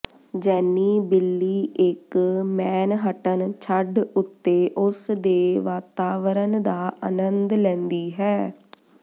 ਜੈਨੀ ਬਿੱਲੀ ਇੱਕ ਮੈਨਹਟਨ ਛੱਤ ਉੱਤੇ ਉਸ ਦੇ ਵਾਤਾਵਰਨ ਦਾ ਅਨੰਦ ਲੈਂਦੀ ਹੈ